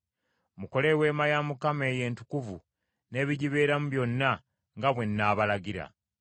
Mukole Eweema ya Mukama eyo entukuvu n’ebigibeeramu byonna nga bwe nnaabalagirira.